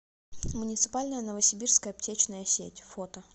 муниципальная новосибирская аптечная сеть фото